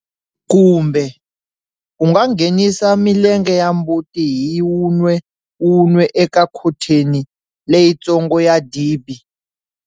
Kumbe, u nga nghenisa milenge ya mbuti hi wun'we wun'we eka khontheni leyitsongo ya dibi.